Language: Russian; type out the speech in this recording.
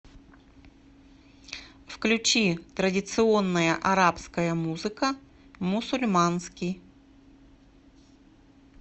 включи традиционная арабская музыка мусульманский